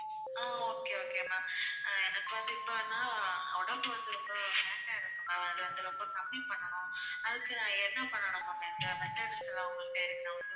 ஆஹ் okay oaky ma'am அஹ் எனக்கு வந்து இப்போ என்னென்னா உடம்பு வந்து ரொம்ப fat டா இருக்கு ma'am அதை ரொம்ப கம்மி பண்ணணும் அதுக்கு நான் என்ன பண்ணணும் ma'am எந்த method லாம் உங்க கிட்ட இருக்கு நான் வந்து